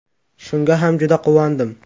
Shunga ham juda quvondim.